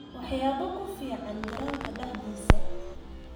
Waxyaabo ku fiican garoonka dhexdiisa.